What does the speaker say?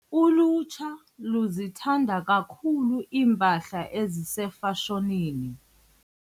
Ulutsha luzithanda kakhulu iimpahla ezisefashonini.